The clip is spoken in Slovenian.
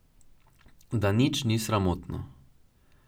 Da nič ni sramotno.